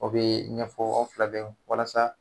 O bɛ ɲɛfɔ aw fila bɛɛ ye walasa